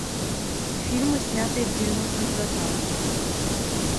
фильмы снятые в девяностых годах